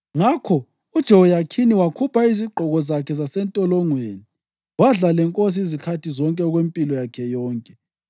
Ngakho uJehoyakhini wakhupha izigqoko zakhe zasentolongweni, wadla lenkosi izikhathi zonke okwempilo yakhe yonke.